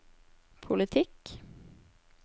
politikk